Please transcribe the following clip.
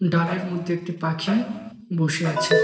ডালের মধ্যে একটি পাখি বসে আছে ।